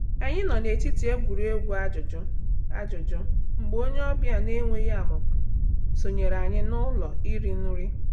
Anyị nọ n’etiti egwuregwu ajụjụ ajụjụ mgbe onye ọbịa na-enweghị amụma sonyere anyị n’ụlọ iri nri.